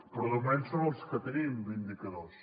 però de moment són els que tenim d’indicadors